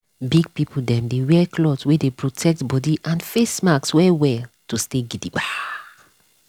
big people dem dey wear cloth wey dey protect body and face mask well well to stay gidigba.